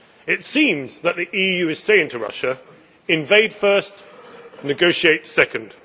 It seems that the EU is saying to Russia invade first, negotiate second.